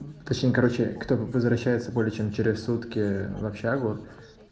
точнее короче кто возвращается более чем через сутки в общежитие